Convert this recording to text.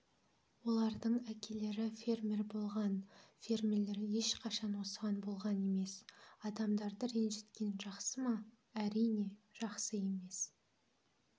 олардың әкелері фермер болған фермерлер ешқашан осыған болған емес адамдарды ренжіткен жақсы ма әрине жақсы емес